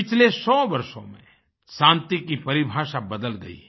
पिछले 100 वर्षों में शान्ति की परिभाषा बदल गई है